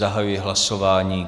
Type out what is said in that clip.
Zahajuji hlasování.